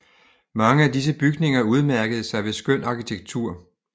Mange af disse bygninger udmærkede sig ved skøn arkitektur